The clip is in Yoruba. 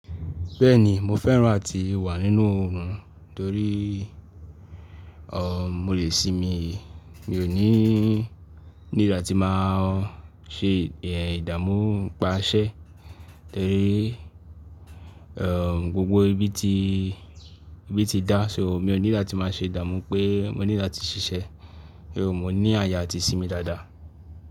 Bẹ́ẹ̀ni mo fẹ́ràn á ti wà nínú oòrùn torí mo lè sinmi, mi ò ní ní ìgbà tí bá n ṣe ìdààmú n pa iṣẹ́ torí o gbogbo ibi tí ibi tí dá, ṣo mi ò need láti má ṣe ìdààmú pé mo need láti ṣiṣẹ́, mo ní ààyè àti ìsinmi dáadáa.